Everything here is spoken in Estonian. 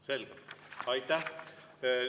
Selge, aitäh!